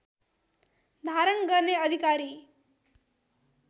धारण गर्ने अधिकारी